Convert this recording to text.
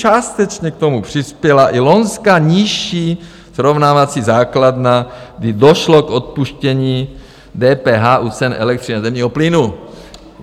Částečně k tomu přispěla i loňská nižší srovnávací základna, kdy došlo k odpuštění DPH u cen elektřiny a zemního plynu."